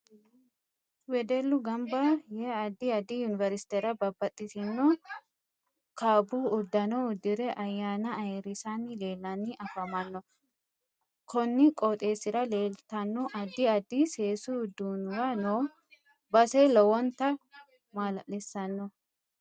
Wedellu ganba yee addi addi universtera babbaxitino kaabbu uddano uddire ayaana ayiirisani leelanni afamanno konni qooxeesira leeltano addi addi seesu uduunuwa noo base lowonta maalalisiisanno